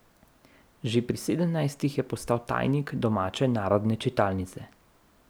Že pri sedemnajstih je postal tajnik domače narodne čitalnice.